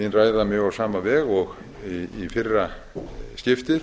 mín ræða mjög á sama veg og í fyrra skiptið